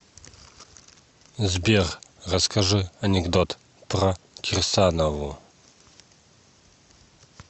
сбер расскажи анекдот про кирсанову